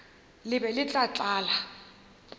le be le tla tlala